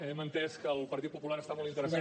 hem entès que el partit popular està molt interessat